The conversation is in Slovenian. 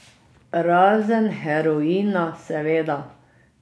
Razen heroina, seveda.